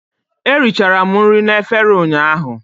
Eri chara m nri na efere ụnyaahụ